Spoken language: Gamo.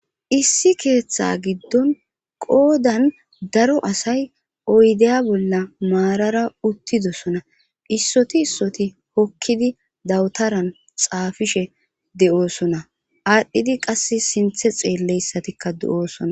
issi keeththa giddon qoodan daro asay oydeya bolla maarara uttidosona issoti issoti hokkidi dawutaran xaafishe de7oosona aadhdhidi qass sinthe xeelleyssatikka de7oosona